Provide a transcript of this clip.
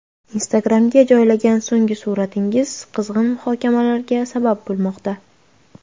Instagram’ga joylagan so‘nggi suratingiz qizg‘in muhokamalarga sabab bo‘lmoqda.